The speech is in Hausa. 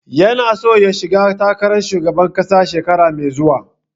Ya na so ya shiga takaran shugaban ƙasa shekara mai zuwa.